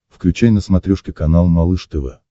включай на смотрешке канал малыш тв